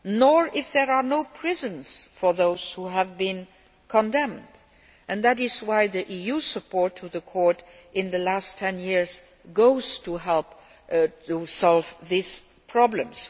nor if there are no prisons for those who have been condemned, and that is why the EU supported the Court over the last ten years to help solve these problems.